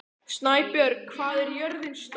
Snæbjörg, hvað er jörðin stór?